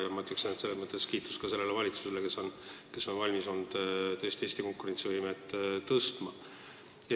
Selles mõttes kiitus sellele valitsusele, kes on olnud valmis Eesti konkurentsivõimet tõstma.